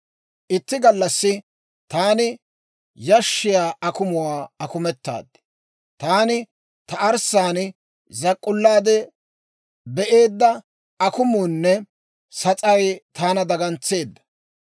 Itti gallassi taani yashshiyaa akumuwaa akumetaad. Taani ta arssaan zak'k'ullaade, be'eedda akumuunne sas'ay taana dagantseedda.